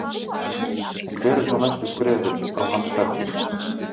En hver eru þá næstu skrefin á hans ferli?